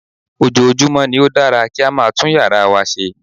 Ojoojúmọ́ ni ó dára kí a máa tún yàrá wa ṣe